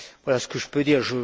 Voilà ce que je peux dire.